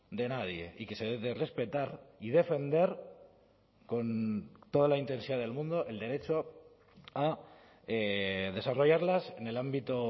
de nadie y que se debe de respetar y defender con toda la intensidad del mundo el derecho a desarrollarlas en el ámbito